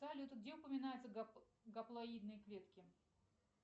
салют где упоминаются гаплоидные клетки